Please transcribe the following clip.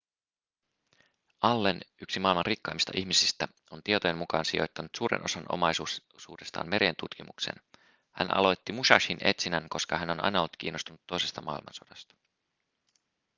allen yksi maailman rikkaimmista ihmisistä on tietojen mukaan sijoittanut suuren osan omaisuudestaan merien tutkimukseen hän aloitti musashin etsinnän koska hän on aina ollut kiinnostunut toisesta maailmansodasta